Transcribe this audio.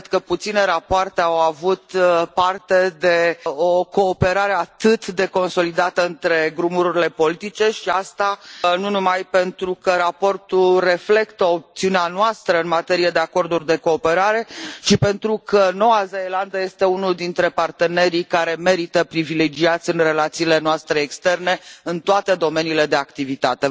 Cred că puține rapoarte au avut parte de o cooperare atât de consolidată între grupurile politice și asta nu numai pentru că raportul reflectă opțiunea noastră în materie de acorduri de cooperare, ci pentru că Noua Zeelandă este unul dintre partenerii care merită privilegiați în relațiile noastre externe în toate domeniile de activitate.